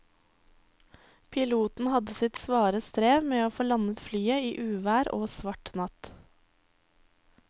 Piloten hadde sitt svare strev med å få landet flyet i uvær og svart natt.